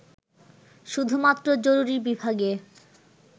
শুধুমাত্র জরুরী বিভাগে